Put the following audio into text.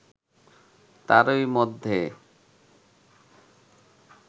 তারই মধ্যে